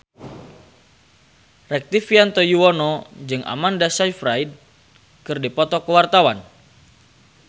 Rektivianto Yoewono jeung Amanda Sayfried keur dipoto ku wartawan